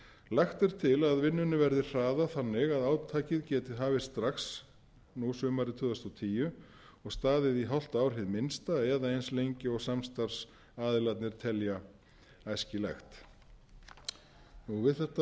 lagt er til að vinnunni verði hraðað þannig að átakið geti hafist strax nú sumarið tvö þúsund og tíu og staðið í hálft ár hið minnsta eða eins lengi og samstarfsaðilarnir telja æskilegt við þetta er að bæta kannski að það sem við höfum nú verið